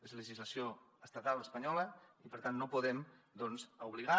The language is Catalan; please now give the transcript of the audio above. és legislació estatal espanyola i per tant no podem doncs obligar